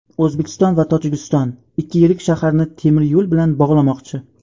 O‘zbekiston va Tojikiston ikki yirik shaharni temir yo‘l bilan bog‘lamoqchi.